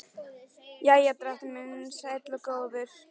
Jæja, drottinn minn sæll og góður.